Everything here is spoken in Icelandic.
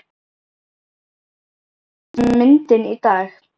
Þetta er vinsælasta myndin í dag!